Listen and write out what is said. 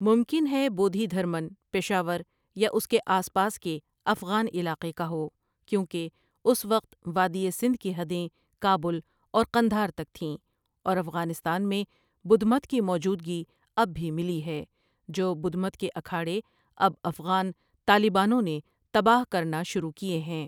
ممکن ھے بودھی دھرمن پشاور یا اس کے آسپاس کے افغان علاقے کا ھو کیوں کہ اس وقت وادی سندھ کی حدیں کابل اور قندھار تک تھیں اور افغانستان میں بدھ مت کی موجودگی اب بھی ملی ھی جو بدھ مت کے اکھاڑے اب افغان طالبانوں نے تباہ کرنا شروع کیے ھیں۔